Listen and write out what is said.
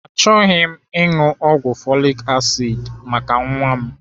Achọghị m ịṅụ ọgwụ folik asid maka nwa m.